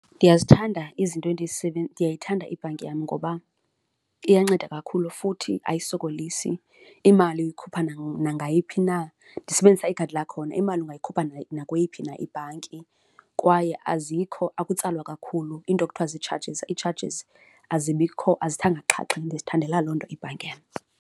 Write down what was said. Ndiyazithanda izinto ndiyayithanda ibhanki yam ngoba iyanceda kakhulu futhi ayisokolisi. Imali uyikhupha nangayiphi na, ndisebenzisa ikhadi lakhona, imali ungayikhupha nakweyiphi na ibhanki kwaye azikho, ukutsalwa kakhulu iinto ekuthiwa ziitshajizi, iitshajizi azibikho, azithanga xhaxha, ndizithandela loo nto ibhanki yam.